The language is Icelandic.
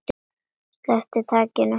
Sleppir takinu.